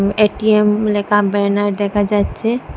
ATM লেখা banner দেখা যাচ্ছে।